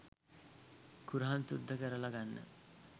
කුරහන් සුද්ද කරල ගන්න